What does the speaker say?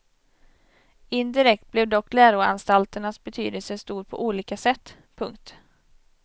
Indirekt blev dock läroanstalternas betydelse stor på olika sätt. punkt